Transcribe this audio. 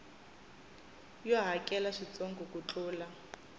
yo hakela swintsongo ku tlula